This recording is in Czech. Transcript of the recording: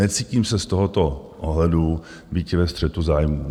Necítím se z tohoto ohledu býti ve střetu zájmů.